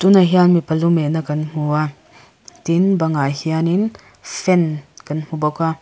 tunah hian mipa lumeh na kan hmu a tin bangah hianin fan kan hmu bawk a.